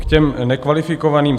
K těm nekvalifikovaným.